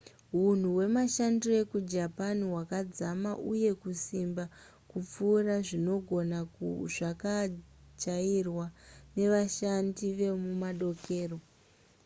hunhu hwemashandiro ekujapan hwakadzama uye kusimba kupfuura zvinogona zvakajairwa nevashandi vekumadokero